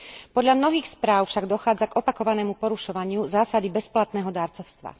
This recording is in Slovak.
Podľa mnohých správ však dochádza k opakovanému porušovaniu zásady bezplatného darcovstva.